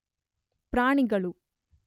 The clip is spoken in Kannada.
ಪ್ರಾಣಿಗಳು